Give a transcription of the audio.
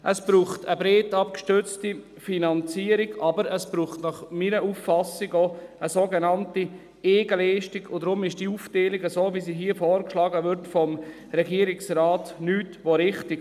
Es braucht eine breit abgestützte Finanzierung, aber es braucht meiner Auffassung nach auch eine sogenannte Eigenleistung, und deshalb ist diese Aufteilung so, wie sie hier vom Regierungsrat vorgeschlagen wird, nichts als richtig.